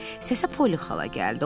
Səsə Poly xala gəldi.